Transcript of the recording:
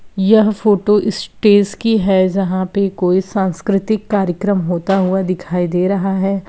यह photo stage की है जहाँ पे कोई सांस्कृतिक कार्यक्रम होता हुआ दिखाई दे रहा हैं।